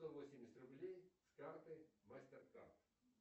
сто восемьдесят рублей с карты мастер карт